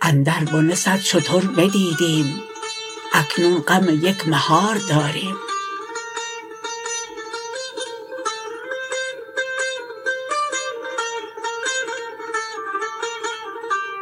اندر بنه صد شتر بدیدیم اکنون غم یک مهار داریم